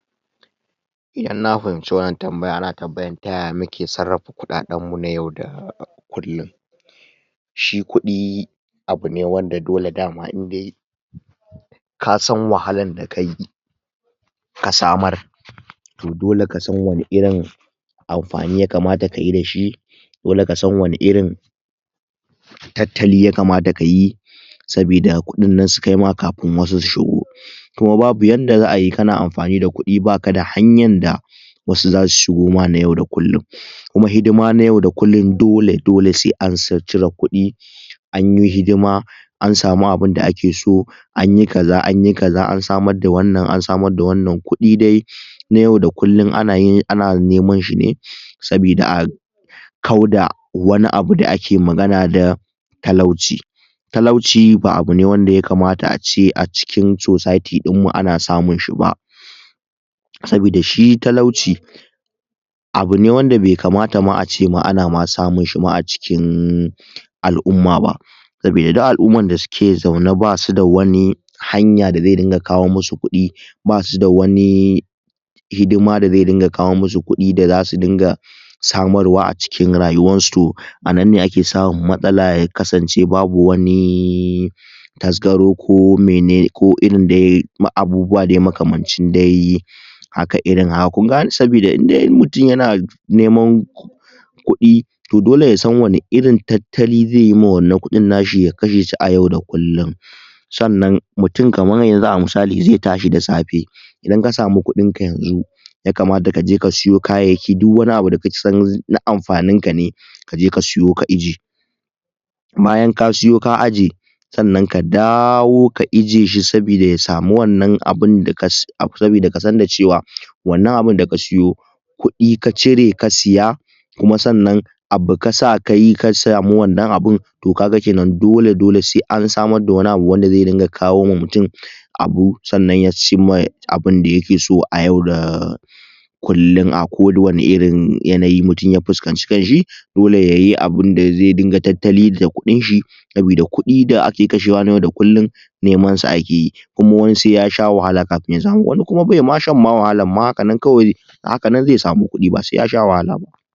Inna fahinci wannan tambaya ana tambayan taya muke sarrafa kukaden mu na yau da kullin shi kudi abune wanda dole dama indai kasan wahakar dakai ka samar to dole kasan wane irin amfani ya kamata kayi dashi dole kasan wane irin tattali ya kamata kayi sabida kudin nan su kaima kafin wasu su shigo kuma babu yanda zaai kana amfani da kudi ba kada hanyar da wasu zasu shigo ma na yau da kullin kuma hidima na yau da kullin dole dole sai an cire kudi anyi hidima an samu abinda ake so anyi kaza anyi kaza an samar da wannan an samar da wannan kudi dai na yau da kullin anayin ana neman shi ne sabida kauda wani abu da ake magana da talauci talaci ba abune wanda ya kamata ace a cikin socity din mu ana samun shi ba sabida shi talauci abune wanda bai kamata ma ace ana samunshi ma a cikin al'umma ba sabida duk al'ummar suke zaune basuda wani hanya da zai dinga kawo masu kudi basuda wani hidima da zai dinga kawo masu kudi da zasu dinga samarwa a cikin rayuwar su to a nan ne ake samun matsala ya kasance babu wani tasgaro komene ko irin dai abubuwa makamancin dai haka irin haka kungagane sabida indai mutum yana neman kudi to dole yasan wani irin tattali zaiyi ma wannan kudin nashi ya kashe a yau da kullin sannan mutum kamar yazu a misali idan ka samu kudinka yanzu ya kamata kaje ka sawo kayayyaki duk wani abu da kasan na amfanin ka ne kaje ka siyo a aje bayan ka sawo ka aje sannan ka dawo ka aje shi sabida ya samu wannan abinda ka sabida kasan da cewa wannan abin da ka sawo kudi ka cire ka saya kuma sannan abu kasa kayi ka samu wannan abun to kaga kenan dole dole sai an samar da wani abu wanda zai ringa kawo ma mutum abu sannan ya cimma abinda yake so a yau da kullin a kowane irrin yanayi mutum ya fuskanci kanshi dole yayi abinda zaiyi tattali da kudin shi sabida kudi da ake kashewa na yau da kullin neman su akeyi kuma wani sai ya sha wahala kafin ya samu wani kuma baima shan wahalar ma haka nan ma kawai a haka nan zai samu kudi ba sai ya sha wahala ba